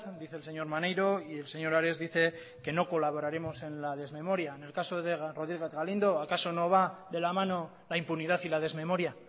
dice el señor maneiro y el señor ares dice que no colaboraremos en la desmemoria en el caso de rodríguez galindo acaso no va de la mano la impunidad y la desmemoria